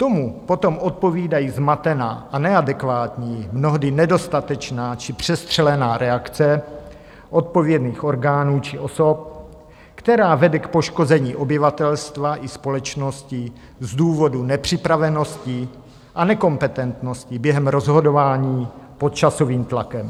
Tomu potom odpovídá zmatená a neadekvátní, mnohdy nedostatečná či přestřelená reakce odpovědných orgánů či osob, která vede k poškození obyvatelstva či společnosti z důvodu nepřipravenosti a nekompetentnosti během rozhodování pod časovým tlakem.